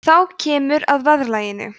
þá kemur að verðlaginu